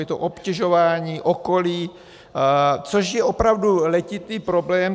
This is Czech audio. Je to obtěžování okolí, což je opravdu letitý problém.